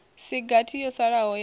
si gathi yo salaho ya